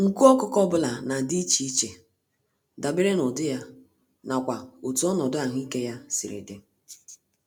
Nku ọkụkọ ọbula nadi íchè iche, dabere n'ụdị ya, n'akwa otú ọnọdụ ahụike ya siri dị.